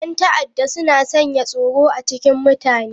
Yan ta'adda suna sanya tsoro a cikin mutane.